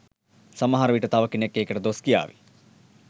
සමහර විට තව කෙනෙක් ඒකට දොස් කියාවි.